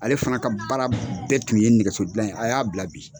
Ale fana ka baara bɛɛ tun ye nɛgɛso dilan ye a y'a bila bi.